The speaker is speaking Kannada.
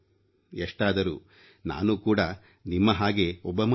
ಎಷ್ಟಾದರೂ ನಾನು ಕೂಡ ನಿಮ್ಮ ಹಾಗೆ ಒಬ್ಬ ಮನುಷ್ಯ